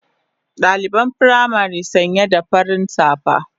Daliban firamari sanya da farin safa